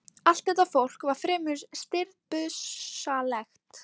Allt þetta fólk var fremur stirðbusalegt.